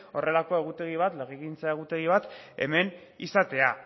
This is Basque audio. legegintza egutegi bat hemen izatea